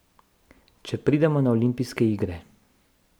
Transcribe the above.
Če pridemo na olimpijske igre ...